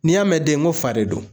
N'i y'a mɛn den n ko fa de don.